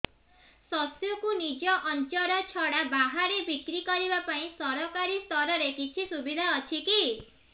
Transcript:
ଶସ୍ୟକୁ ନିଜ ଅଞ୍ଚଳ ଛଡା ବାହାରେ ବିକ୍ରି କରିବା ପାଇଁ ସରକାରୀ ସ୍ତରରେ କିଛି ସୁବିଧା ଅଛି କି